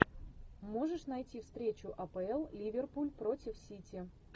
можешь найти встречу апл ливерпуль против сити